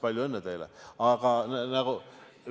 Palju õnne teile!